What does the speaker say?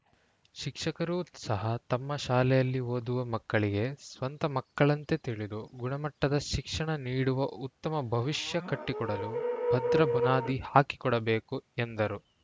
ಶಿಕ್ಷಕರೂ ಸಹ ತಮ್ಮ ಶಾಲೆಯಲ್ಲಿ ಓದುವ ಮಕ್ಕಳಿಗೆ ಸ್ವಂತ ಮಕ್ಕಳಂತೆ ತಿಳಿದು ಗುಣಮಟ್ಟದ ಶಿಕ್ಷಣ ನೀಡುವ ಉತ್ತಮ ಭವಿಷ್ಯ ಕಟ್ಟಿಕೊಡಲು ಭದ್ರ ಬುನಾದಿ ಹಾಕಿಕೊಡಬೇಕು ಎಂದರು